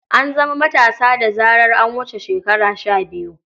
An zama matasa da zarar an wuce shekara shabiyu.